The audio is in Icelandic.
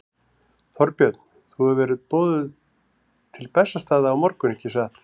Þorbjörn: Þú hefur verið boðuð til Bessastaða á morgun, ekki satt?